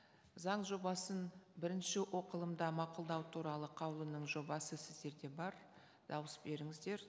заң жобасын бірінші оқылымда мақұлдау туралы қаулының жобасы сіздерде бар дауыс беріңіздер